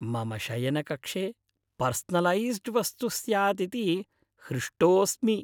मम शयनकक्षे पर्सनलैस्ड्वस्तु स्यात् इति हृष्टोस्मि।